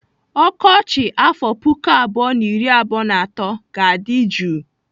Ọkọchị afọ puku abụọ na iri abụọ na atọ ga-adị jụụ.